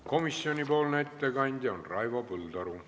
Komisjoni ettekandja on Raivo Põldaru.